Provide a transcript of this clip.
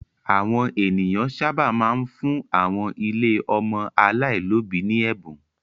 Àwọn ènìyàn sábà máa ń fún àwọn ilé ọmọ aláìlóòbí ní ẹ̀bùn.